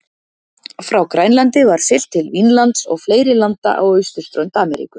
Frá Grænlandi var siglt til Vínlands og fleiri landa á austurströnd Ameríku.